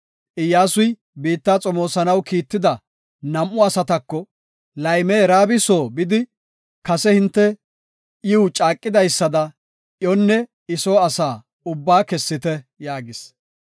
Iyyasuy biitta xomoosanaw kiitetida nam7u asatako, “Layme Raabi soo bidi, kase hinte iw caaqidaysada, iyonne I soo asa ubbaa kessite” yaagis.